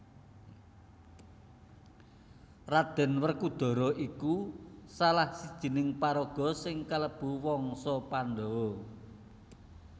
Raden Werkudara iku salah sijining paraga sing kalebu wangsa Pandhawa